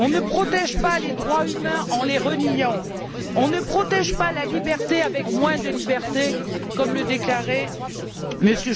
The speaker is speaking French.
On ne protège pas les droits humains en les reniant, on ne protège pas la liberté avec moins de liberté, comme le déclarait M.